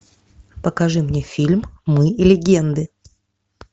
покажи мне фильм мы легенды